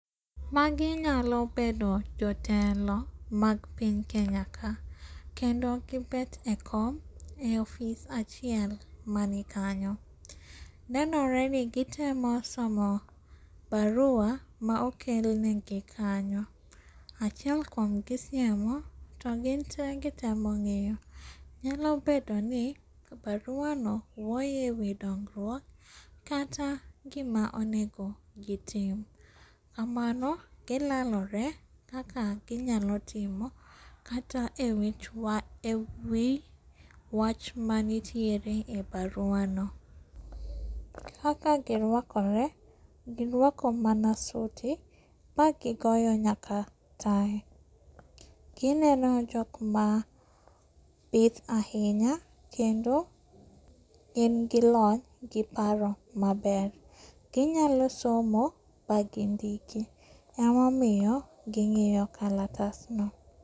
Magi nyalo bedo jotelo mag piny Kenya ka, kendo gibet e kom e ofis achiel mani kanyo. Neoreni gitemo somo barua maokel negi kanyo, achiel kuomgi siemo to ginte gitemo ng'iyo. Nyalo bedoni baruano wuoyo e wi dongruok kata gima onego gitim. Kamano gilelore kaka ginyalo timo kata e wi wach manitiere e baruano. Kaka giruakore, giruako mana suti magigoyo nyaka tai. Gineno jokma bith ahinya kendo gin gi lony gi paro maber. Ginyalo somo bangindiki emomiyo ging'iyo kalatasno.